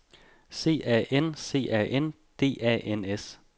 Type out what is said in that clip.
C A N C A N D A N S